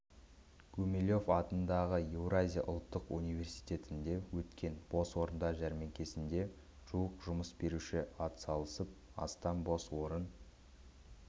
гумилев атындағы еуразия ұлттық университетінде өткен бос орындар жәрмеңкесіне жуық жұмыс беруші атсалысып астам бос орын